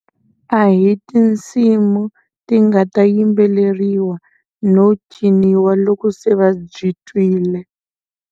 A hi tinsimu ti nga ta yimbeleriwa no ciniwa loko se va byi twile.